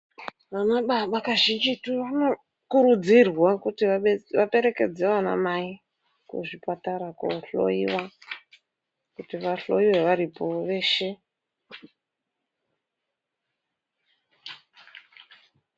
Ana baba kazhinji tu vanokurudzirwa kuti vaperekedza vanamai kuzvipatara koohloyiwa, kuti vahloyiwe varipo veshe.